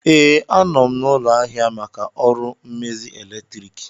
Ee, anọ m n'ụlọ ahịa maka ọrụ mmezi eletriki